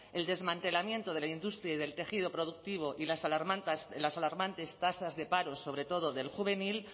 el desmantelamiento de la industria y del tejido productivo y las alarmantes tasas de paro sobre todo del juvenil